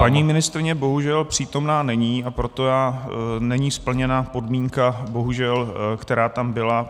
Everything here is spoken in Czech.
Paní ministryně bohužel přítomna není, a proto není splněna podmínka, bohužel, která tam byla.